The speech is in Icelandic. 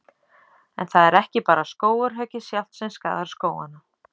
En það er ekki bara skógarhöggið sjálft sem skaðar skógana.